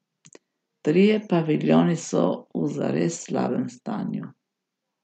Trije paviljoni so v zares slabem stanju.